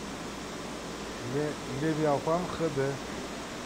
левиафан хэ дэ